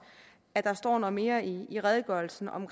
at der står noget mere i i redegørelsen om